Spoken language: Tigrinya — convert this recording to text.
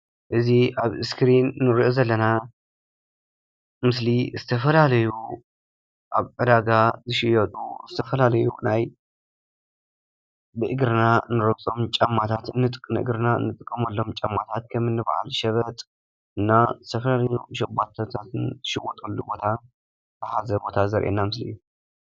እዙይ ኣብ ስክሪን እንርእዮ ዘለና ምስሊ ዝተፈላለዩ ኣብ ዕዳጋ ዝሽየጡ ዝተፈላለዩ ናይ ብእግርና እንረግፆም ጨማታት ንእግርና ንጥቀመሎም ጫማታት ከምኒ ባዓል ሸበጥ ዝተፈላለዩ ሸባቶታትን ዝሽወጠሉ ቦታ ዝሓዘ ቦታ ዘርእየና ምስሊ እዩ።